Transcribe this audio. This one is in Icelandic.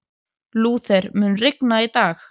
Lúther, mun rigna í dag?